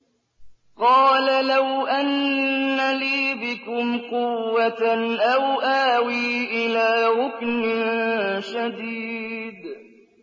قَالَ لَوْ أَنَّ لِي بِكُمْ قُوَّةً أَوْ آوِي إِلَىٰ رُكْنٍ شَدِيدٍ